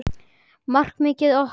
Markmið okkar?